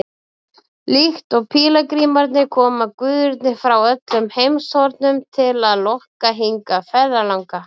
Líkt og pílagrímarnir koma guðirnir frá öllum heimshornum til að lokka hingað ferðalanga.